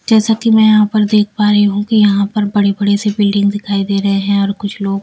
जैसा कि मैं यहां पर देख पा रही हूं कि यहां पर बड़े-बड़े से बिल्डिंग दिखाई दे रहे हैं और कुछ लोग--